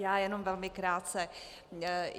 Já jenom velmi krátce.